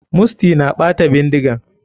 Musty na ɓata bindigan.